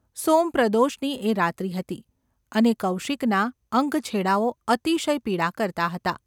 સોમપ્રદોષની એ રાત્રિ હતી. અને કૌશિકના અંગછેડાઓ અતિશય પીડા કરતા હતા.